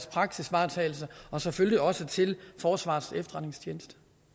praksisvaretagelse og selvfølgelig også til forsvarets efterretningstjeneste